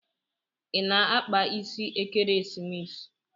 I na-akpa isi ekeresimesi?